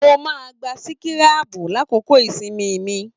Mo máa n gbà sikirabu l'akoko ìsinmi mí